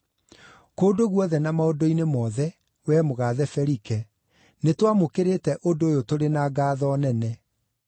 Kũndũ guothe na maũndũ-inĩ mothe, wee mũgaathe Felike, nĩtwamũkĩrĩte ũndũ ũyũ tũrĩ na ngaatho nene.